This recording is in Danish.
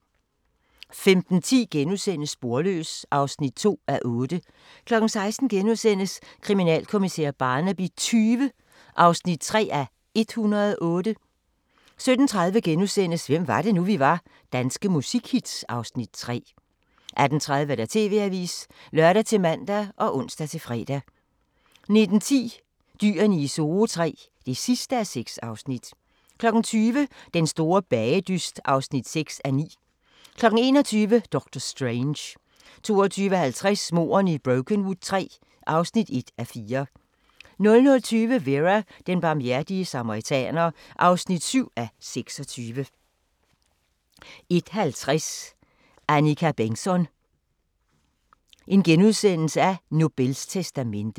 15:10: Sporløs (2:8)* 16:00: Kriminalkommissær Barnaby XX (3:108)* 17:30: Hvem var det nu, vi var: Danske musikhits (Afs. 3)* 18:30: TV-avisen (lør-man og ons-fre) 19:10: Dyrene I Zoo III (6:6) 20:00: Den store bagedyst (6:9) 21:00: Doctor Strange 22:50: Mordene i Brokenwood III (1:4) 00:20: Vera: Den barmhjertige samaritaner (7:26) 01:50: Annika Bengtzon: Nobels testamente *